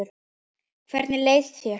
Hvernig leið þér?